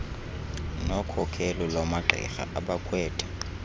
nokhokelo lwamagqirha abakhwetha